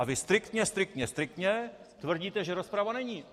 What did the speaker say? A vy striktně, striktně, striktně tvrdíte, že rozprava není.